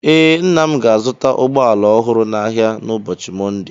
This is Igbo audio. Ee, nna m ga-azụta ụgbọ ala ọhụrụ n'ahịa n'ụbọọchi Mọnde.